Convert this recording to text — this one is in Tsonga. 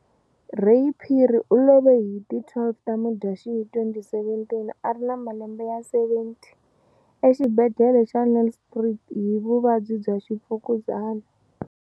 Ray Phiri u love hi ti 12 ta Mudyaxihi 2017, a ri na malembe ya 70, exibhedlhele xa Nelspruit hi vuvabyi bya Mfukuzana.